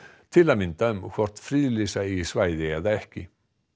til að mynda um hvort friðlýsa eigi svæði eða ekki